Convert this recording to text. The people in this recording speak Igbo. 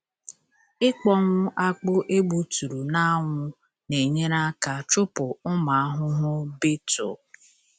Ịkpọnwụ akpụ egbuturu n’anwụ na-enyere aka chụpụ ụmụ ahụhụ beetle.